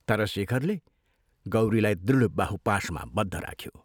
तर शेखरले गौरीलाई दृढ बाहुपाशमा बद्ध राख्यो।